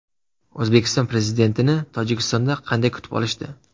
O‘zbekiston Prezidentini Tojikistonda qanday kutib olishdi?